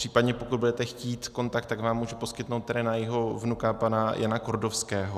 Případně pokud budete chtít kontakt, tak vám můžu poskytnout tady na jeho vnuka pana Jana Kordovského.